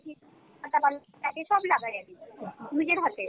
একা মানুষ, একই সব লাগাই আরকি নিজের হাতে।